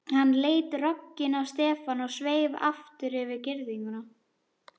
Hann leit rogginn á Stefán og sveif aftur yfir girðinguna.